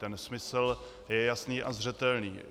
Ten smysl je jasný a zřetelný.